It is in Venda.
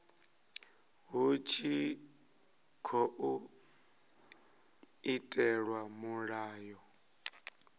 hu tshi tkhou itelwa mulayo